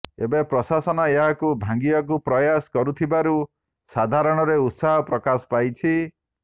ଏବେ ପ୍ରଶାସନ ଏହାକୁ ଭାଙ୍ଗିବାକୁ ପ୍ରୟାସ କରୁଥିବାରୁ ସାଧାରଣରେ ଉତ୍ସାହ ପ୍ରକାଶ ପାଇଛି